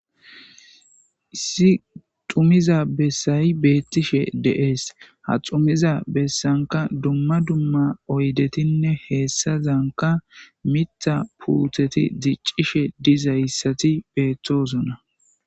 Issi xumiza bessayi beettishe de7ees ha xumiza bessanka dumma dumma oydetinne heessa zanka mita puutheti diccishe dizayssati beettoosona.